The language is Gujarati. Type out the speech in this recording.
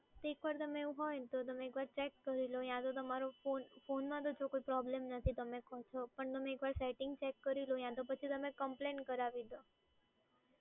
તો એકવાર તમે એવું હોય તો તમે એકવાર ચેક કરી લો યા તો તમારો ફોન, ફોનમાં તો જો કોઈ પ્રોબ્લેમ નથી તમે કો છો. પણ તમે એકવાર સેટિંગ ચેક કરી લો યા તો પછી કમ્પ્લેન કરાવી દો.